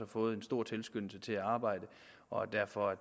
fået en stor tilskyndelse til at arbejde derfor er